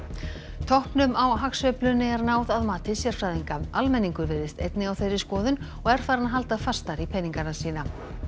toppnum á hagsveiflunni er náð að mati sérfræðinga almenningur virðist einnig á þeirri skoðun og er farinn að halda fastar í peningana sína